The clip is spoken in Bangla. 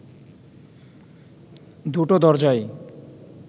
দুটো দরজাই